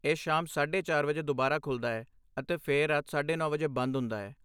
ਇਹ ਸ਼ਾਮ ਸਾਢੇ ਚਾਰ ਵਜੇ ਦੁਬਾਰਾ ਖੁੱਲ੍ਹਦਾ ਹੈ, ਅਤੇ ਫਿਰ ਰਾਤ ਸਾਢੇ ਨੌ ਵਜੇ ਬੰਦ ਹੁੰਦਾ ਹੈ